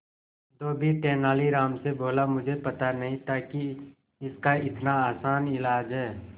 धोबी तेनालीराम से बोला मुझे पता नहीं था कि इसका इतना आसान इलाज है